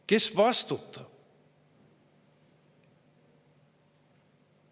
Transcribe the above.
Kes vastutab?